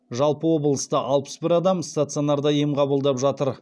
жалпы облыста алпыс бір адам стационарда ем қабылдап жатыр